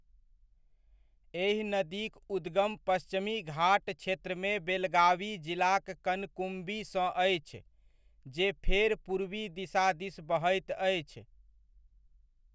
एहि नदीक उद्गम पश्चिमी घाट क्षेत्रमे बेलगावी जिलाक कनकुम्बीसँ अछि, जे फेर पूर्वी दिशा दिस बहैत अछि।